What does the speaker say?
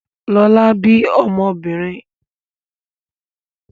Lọlá bí ọmọbìnrin.